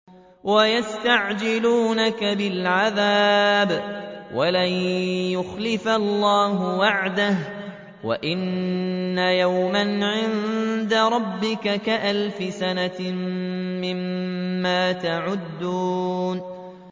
وَيَسْتَعْجِلُونَكَ بِالْعَذَابِ وَلَن يُخْلِفَ اللَّهُ وَعْدَهُ ۚ وَإِنَّ يَوْمًا عِندَ رَبِّكَ كَأَلْفِ سَنَةٍ مِّمَّا تَعُدُّونَ